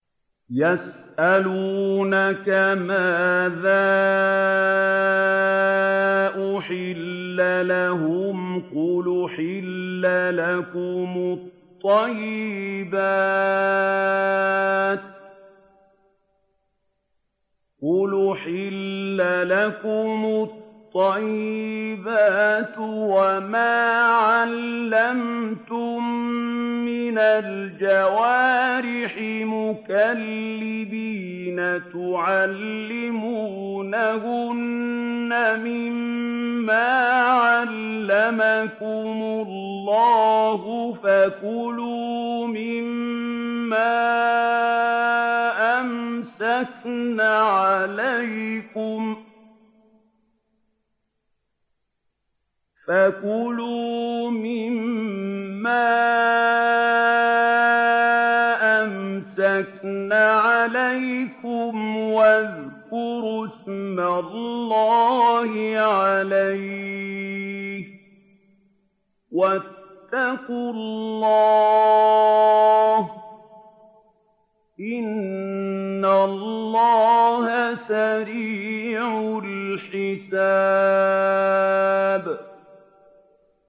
يَسْأَلُونَكَ مَاذَا أُحِلَّ لَهُمْ ۖ قُلْ أُحِلَّ لَكُمُ الطَّيِّبَاتُ ۙ وَمَا عَلَّمْتُم مِّنَ الْجَوَارِحِ مُكَلِّبِينَ تُعَلِّمُونَهُنَّ مِمَّا عَلَّمَكُمُ اللَّهُ ۖ فَكُلُوا مِمَّا أَمْسَكْنَ عَلَيْكُمْ وَاذْكُرُوا اسْمَ اللَّهِ عَلَيْهِ ۖ وَاتَّقُوا اللَّهَ ۚ إِنَّ اللَّهَ سَرِيعُ الْحِسَابِ